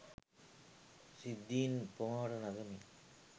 සිද්ධීන් උපමාවට නගමින්